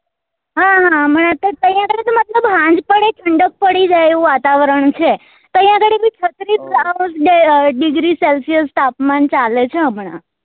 હા હમણાં તો ત્યાર થી જ ને મતલબ સાંજ પડે અને ઠંડક પડી જાય એવું વાતાવરણ છે ત્યાં ઘડી બી છત્રીસ degree celsius તાપમાન ચાલે છે હમણા